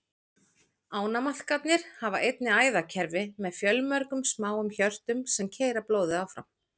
Ánamaðkarnir hafa einnig æðakerfi með fjölmörgum smáum hjörtum, sem keyra blóðið áfram.